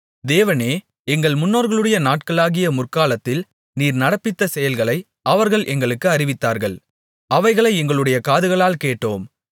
தேவனே எங்கள் முன்னோர்களுடைய நாட்களாகிய முற்காலத்தில் நீர் நடப்பித்த செயல்களை அவர்கள் எங்களுக்கு அறிவித்தார்கள் அவைகளை எங்களுடைய காதுகளால் கேட்டோம்